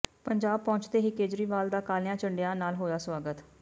ਪੰਜਾਬ ਪਹੁੰਚਦੇ ਹੀ ਕੇਜਰੀਵਾਲ ਦਾ ਕਾਲੀਆਂ ਝੰਡੀਆਂ ਨਾਲ ਹੋਇਆ ਸਵਾਗਤ